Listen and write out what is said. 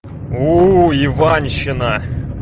у иванщина